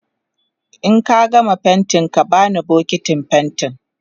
in ka gama faintin ka bani bukitin faintin